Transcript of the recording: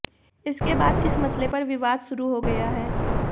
इसके बाद इस मसले पर विवाद शुरू हो गया है